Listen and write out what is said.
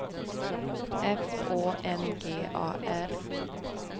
F Å N G A R